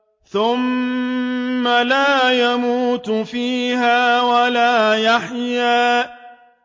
ثُمَّ لَا يَمُوتُ فِيهَا وَلَا يَحْيَىٰ